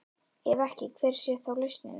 Ef ekki, hver sé þá lausnin?